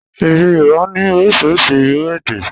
Èdè Yorùbá ní orísirísi irú èdè